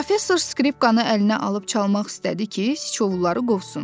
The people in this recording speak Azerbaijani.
Professor skripkanı əlinə alıb çalmaq istədi ki, Siçovulları qovsun.